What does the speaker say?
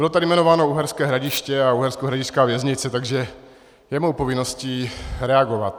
Bylo tady jmenováno Uherské Hradiště a uherskohradišťská věznice, takže je mou povinností reagovat.